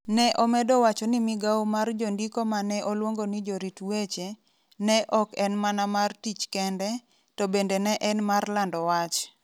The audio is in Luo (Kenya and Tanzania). Ne omedo wacho ni migawo mar jondiko ma ne oluongo ni jorit weche, ne ok en mana mar tich kende, to bende ne en mar lando wach.